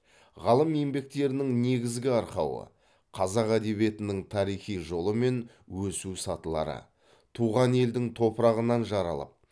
ғалым еңбектерінің негізгі арқауы қазақ әдебиетінің тарихи жолы мен өсу сатылары туған елдің топырағынан жаралып